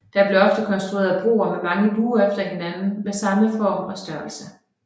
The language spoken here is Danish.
Der blev ofte konstrueret broer med mange buer efter hinanden med samme form og størrelse